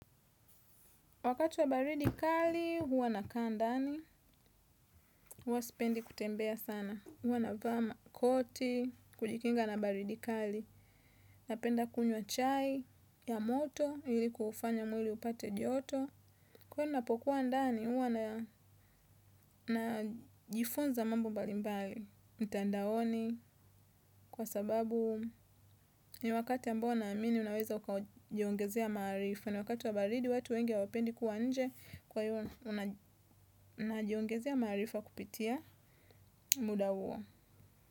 Wakati wa baridi kali, huwa na kaa ndani, huwa sipendi kutembea sana. Huwa na vaa makoti, kujikinga na baridi kali, napenda kunywa chai ya moto ili kuufanya mwili upate joto. Kwani napokuwa ndani, huwa na jifunza mambo mbalimbali, mitandaoni, kwa sababu ni wakati ambao naamini unaweza ukajiongezea maarifa. Kana wakati wa baridi watu wengi hawapendi kuwa nje kwa hiyo unajiongezea ya maarifa kupitia muda huo.